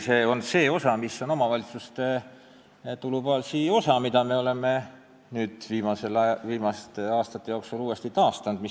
See on see omavalitsuste tulubaasi osa, mida me oleme nüüd viimaste aastate jooksul taastanud.